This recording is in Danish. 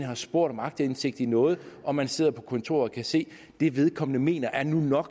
har spurgt om aktindsigt i noget og man sidder på kontoret og kan se at det vedkommende mener nu nok